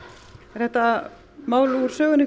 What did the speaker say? er þetta mál úr sögunni